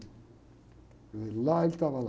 E lá ele estava, lá.